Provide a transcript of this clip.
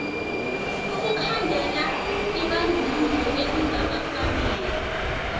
ukukhandela ibandlululo elingakafaneli